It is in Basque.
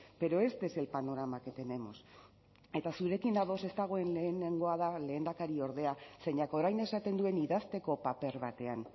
pero este es el panorama que tenemos eta zurekin ados ez dagoen lehenengoa da lehendakariordea zeinak orain esaten duen idazteko paper batean